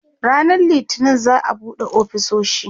ranan littani za'a buɗe ofisoshi